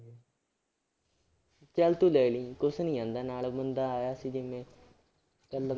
ਚੱਲ ਤੂੰ ਲੈ ਲਈ ਕੁਛ ਨੀ ਜਾਂਦਾ ਨਾਲ ਬੰਦਾ ਆਇਆ ਸੀ ਜਿਵੇਂ ਇਕੱਲਮ